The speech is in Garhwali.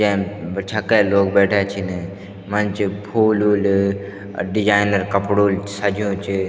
जैम ब छक्के लोग बैठ्याँ छिन मंच फूल वुल अर डिज़ाइनर कपड़ो ल सज्युं च।